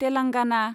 Telangana